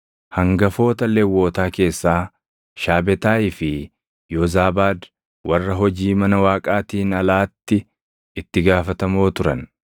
hangafoota Lewwotaa keessaa Shaabetaayii fi Yoozaabaad warra hojii mana Waaqaatiin alaatti itti gaafatamoo turan.